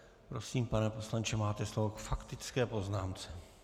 Prosím, pane poslanče, máte slovo k faktické poznámce.